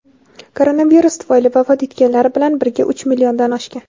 koronavirus tufayli vafot etganlar bilan birga uch milliondan oshgan.